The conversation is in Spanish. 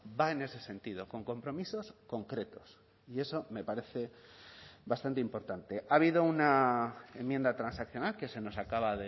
va en ese sentido con compromisos concretos y eso me parece bastante importante ha habido una enmienda transaccional que se nos acaba